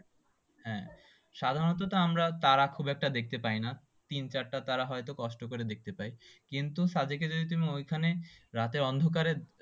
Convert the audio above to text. সাধারণত তো আমরা তাড়া খুব একটা দেখতে পাই না তিন-চারটে তারা হয়তো কষ্ট করে দেখতে পাই কিন্তুসাদেকে যদি তুমি ওইখানে রাতে অন্ধকারে